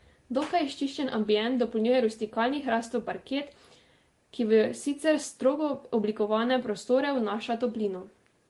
Dokaj izčiščen ambient dopolnjuje rustikalni hrastov parket, ki v sicer strogo oblikovane prostore vnaša toplino.